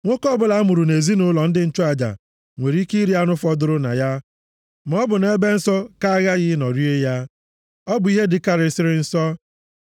Nwoke ọbụla a mụrụ nʼezinaụlọ ndị nchụaja nwere ike iri anụ fọdụrụ na ya, maọbụ nʼebe nsọ ka aghaghị ịnọ rie ya. Ọ bụ ihe dịkarịsịrị nsọ.